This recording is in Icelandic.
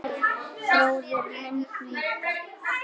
Bróðir minn líka.